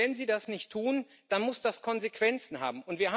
Wenn sie das nicht tut, dann muss das Konsequenzen haben.